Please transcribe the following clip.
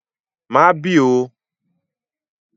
Má bì oo!